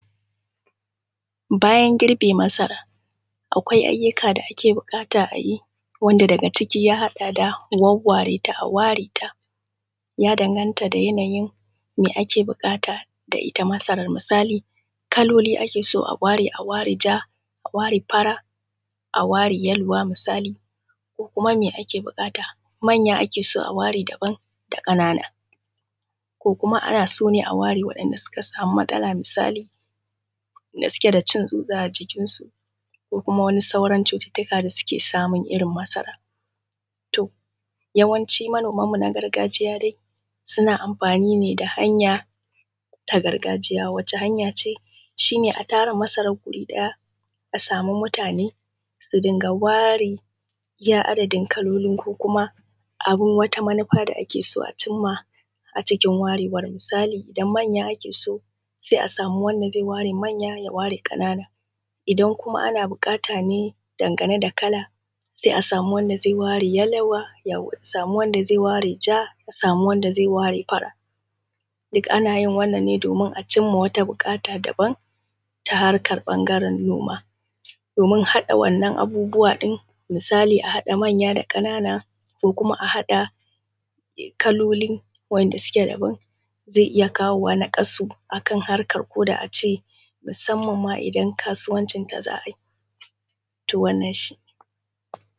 Bayan girbe masara akwai ayyuka da ake buƙata a yi daga cikia akwai wawware ta a ware ta, ya daganta da yanayin da ake buƙata da ita masarar. Misali kaloli ake so a ware ta a ware fara, a ware yaluwa misali. Ko kuma me ake buƙata manya ake son a ware daban da ƙananan, ko kuka ana so ne a ware waɗanda suka sama matsala misali da suke da cin tsutsa a jikinsu da sauran cututtukan da suke samun irin masara. To, yawanci manoman mu irin na gargajiya dai suna amfani ne da hanya a gargajiya shi a tara mutane a sama masarar a guri daya su dinga ware iya adadin kalolin da wata manufa da ake son a cimma a cikin warewar .misali idan manya ake so sai a sami wanda zai ware manya ya ware ƙananan. Idan kuma ana bukata ne game da kala a sami wanda zai ware yaluwa, a sama wanda zai ware ja, a sama wanda zai ware baka. Duk ana yin wannan ne domin a cimma wata buƙata ta daban ta harkar ɓangaren noma domin haɗa wannan abubuwa ɗin, misali a haɗa manya da ƙanana da kuma a haɗa kalolin wanda suke daban zainiya kawo naƙasu akan harkar da ace musamman ma idan kasuwancin da za a yi. To wannan shi ne.